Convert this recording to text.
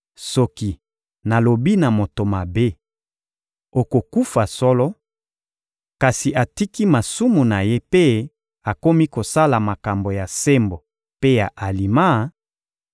Soki nalobi na moto mabe: ‹Okokufa solo;› kasi atiki masumu na ye mpe akomi kosala makambo ya sembo mpe ya alima,